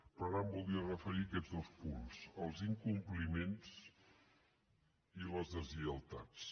però ara em voldria referir a aquests dos punts els incompliments i les deslleialtats